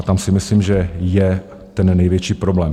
A tam si myslím, že je ten největší problém.